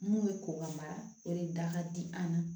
Mun bɛ ko ka mara o de da ka di an ma